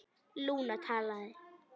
Lúna talaði: